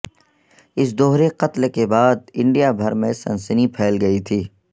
اس دہرے قتل کے بعد انڈیا بھر میں سنسنی پھیل گئی تھی